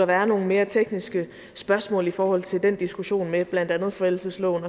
være nogle mere tekniske spørgsmål i forhold til den diskussion med blandt andet forældelsesloven